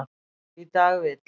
Í dag vill